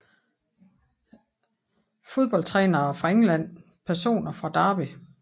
Fodboldtrænere fra England Personer fra Derby